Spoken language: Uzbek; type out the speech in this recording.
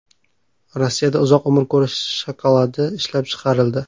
Rossiyada uzoq umr ko‘rish shokoladi ishlab chiqarildi.